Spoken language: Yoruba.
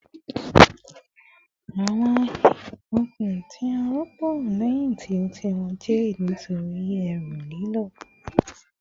Awọn okun ti a rọpo lẹhin ti o ti wọ jade nitori eru lilo